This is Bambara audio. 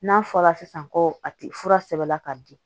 N'a fɔra sisan ko a ti fura sɛbɛla ka di